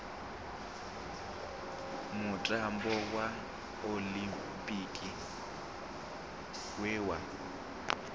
mutambo wa oḽimpiki we wa